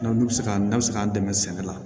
N'olu bɛ se ka n'a bɛ se k'an dɛmɛ sɛnɛ la